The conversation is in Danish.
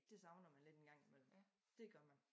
Det savner man lidt engang i mellem dét gør man